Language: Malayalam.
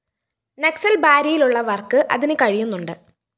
നക്‌സല്‍ ബാരിയിലുള്ളവര്‍ക്ക് അതിന് കഴിയുന്നുണ്ട്